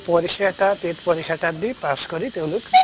পৰিক্ষা এটা TET পৰিক্ষা এটা দি pass কৰি তেওঁলোক